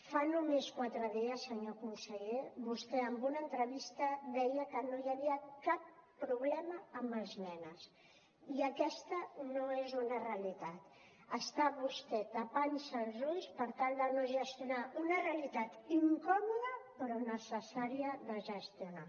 fa només quatre dies senyor conseller vostè en una entrevista deia que no hi havia cap problema amb els menas i aquesta no és una realitat està vostè tapant se els ulls per tal de no gestionar una realitat incòmoda però necessària de gestionar